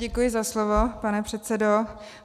Děkuji za slovo, pane předsedo.